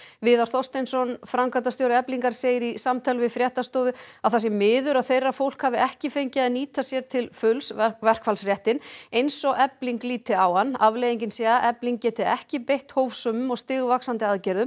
viðar Þorsteinsson framkvæmdastjóra Eflingar segir í samtali við fréttastofu að það sé miður að þeirra fólk hafi ekki fengið að nyta sér til fulls eins og Efling líti á hann afleiðingin sé að Efling geti ekki beitt hófsömum og stigvaxandi aðgerðum